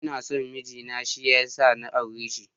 Ina son miji na shi ya sa na aure shi.